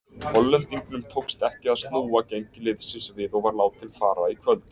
Hollendingnum tókst ekki að snúa gengi liðsins við og var látinn fara í kvöld.